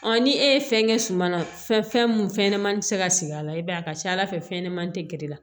ni e ye fɛn kɛ suma na fɛn mun fɛnɲɛnɛmani bɛ se ka sigi a la i b'a ye a ka ca ala fɛ fɛn ɲɛnamani tɛ geren